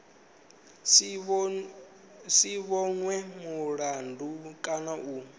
si vhonwe mulandu kana u